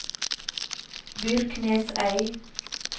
Byrknesøy